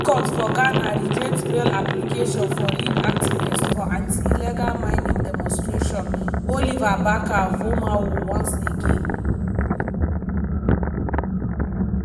di high court for ghana reject bail application for lead activist for anti-illegal mining demonstration oliver barker-vormawor once again.